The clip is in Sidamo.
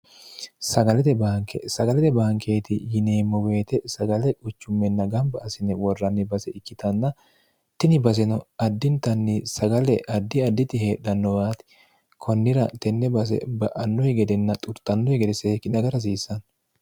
gbnkesagalete baankeeti yineemmo boyite sagale huchummenna gamba asine worranni base ikkitanna tini baseno addintanni sagale addi additi heedhannowaati konnira tenne base ba'annohi gedenna xurxannohi gede seekkine aga rhasiissanno